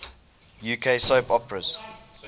uk soap operas